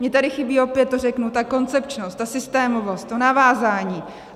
Mně tady chybí, opět to řeknu, ta koncepčnost, ta systémovost, to navázání.